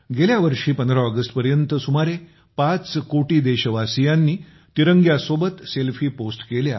गेल्या वर्षी १५ ऑगस्टपर्यंत सुमारे ५ कोटी देशवासियांनी तिरंग्यासोबत सेल्फी पोस्ट केल्या